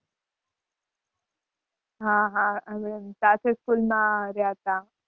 હાં હાં સાથે school માં રહ્યા તા.